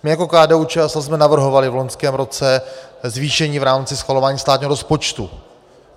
My jako KDU-ČSL jsme navrhovali v loňském roce zvýšení v rámci schvalování státního rozpočtu.